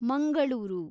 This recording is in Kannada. ಮಂಗಳೂರು